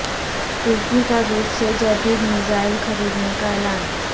ترکی کا روس سے جد ید میزا ئل خر ید نے کا اعلان